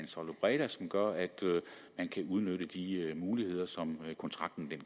som gør at man kan udnytte de muligheder som kontrakten